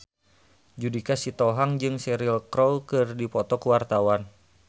Judika Sitohang jeung Cheryl Crow keur dipoto ku wartawan